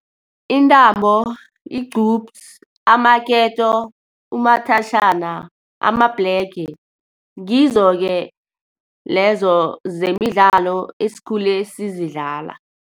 Intambo, igqupsi, amaketo, umathajhana, amabhlege. Ngizo-ke lezo zemidlalo esikhule sizidlala.